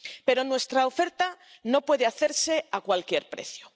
Pero nuestra oferta no puede hacerse a cualquier precio.